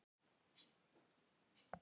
Jónas Hallgrímsson bjó til orð.